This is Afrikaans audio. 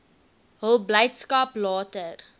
hul blydskap later